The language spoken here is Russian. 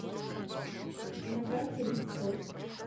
на карте рит спорт